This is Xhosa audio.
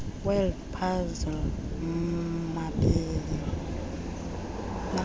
word puzzle mamela